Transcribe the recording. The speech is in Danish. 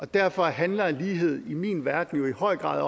derfor handler lighed i min verden jo i høj grad